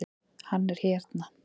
Hann er hérna